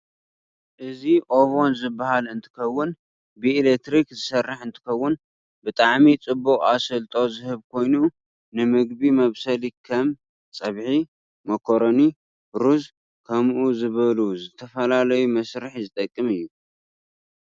እዚ ኦቨን ዝበሃል እንትከውን ብኢለትርክ ዝሰርሕ እንትከውን ብጠዓሚ ፅብቅ ኣሰልጦ ዝህብ ኮይኑ ንምግብ መብሰሊ ከም ፀብሒ፣ ሞኮረኒ፣ ሩዝ ፣ክምኡ ዝበሉ ዝተበፈላለዩ መስርሕ ዝጠቅም እዩ።